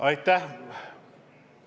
Aitäh!